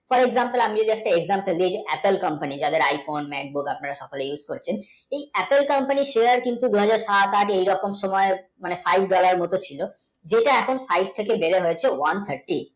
মানে একটা exampleApple, company যাদের iPhone আপনার অনেক দিন use করছেন Apple, company র share কিন্তু দুই হাজার সাত আট এরকম সময় five, dollar মতো ছিল যেটা এখন five থেকে নেমে হয়েছে one, fifty